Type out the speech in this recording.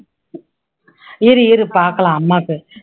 இரு இரு பாக்கலாம் அம்மாக்கு